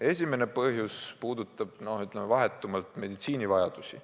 Esimene põhjus puudutab, ütleme, vahetult meditsiini vajadusi.